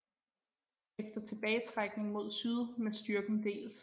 Efter tilbagetrækning mod syd med styrken delt